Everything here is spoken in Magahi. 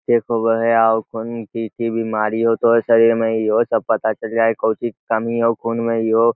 चेक होवा हई आउ कही बीमारी हो तो शरीर में एहो सब पता चल जा हई | कौची के कमी हो खून में इहो --